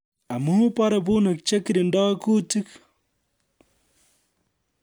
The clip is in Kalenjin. Amu bare bunik che kirindoi kuutik